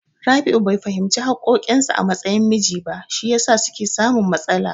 Rabi'u bai fahimci haƙƙoƙin sa a matsayin miji ba, shi yasa suke samun matsala.